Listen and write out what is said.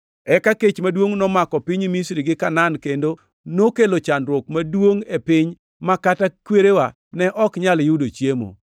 “Eka kech maduongʼ nomako piny Misri gi Kanaan kendo nokelo chandruok maduongʼ e piny ma kata kwerewa ne ok nyal yudo chiemo.